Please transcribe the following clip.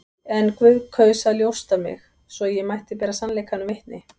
En Guð kaus að ljósta mig, svo ég mætti bera sannleikanum vitni.